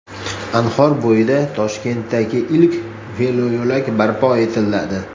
Anhor bo‘yida Toshkentdagi ilk veloyo‘lak barpo etiladi.